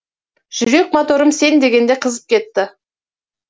жүрек моторым сен дегенде қызып кетті